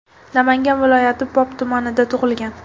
Namangan viloyati Pop tumanida tug‘ilgan.